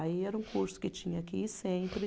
Aí era um curso que tinha que ir sempre.